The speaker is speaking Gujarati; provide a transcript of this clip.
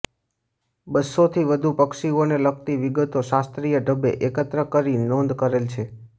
બસ્સો થી વધુ પક્ષીઓને લગતી વિગતો શાસ્ત્રીય ઢબે એકત્ર કરી નોંધ કરેલ છે